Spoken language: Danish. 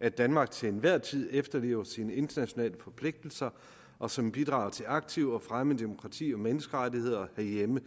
at danmark til enhver tid efterlever sine internationale forpligtelser og som bidrager til aktivt at fremme demokrati og menneskerettigheder herhjemme